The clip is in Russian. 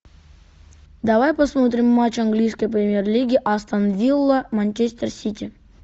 давай посмотрим матч английской премьер лиги астон вилла манчестер сити